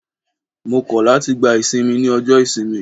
Mo kọ̀ láti gba ìsinmi ní ọjọ́ ìsinmi.